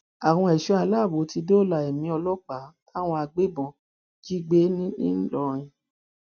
àwọn ẹṣọ aláàbò ti dóòlà ẹmí ọlọpàá táwọn agbébọn jí gbé ńlọrọìn